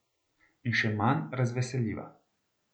In še manj razveseljiva.